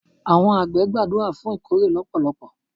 Àwọn àgbẹ̀ gbàdúrà fún ìkórè lọpọlọpọ.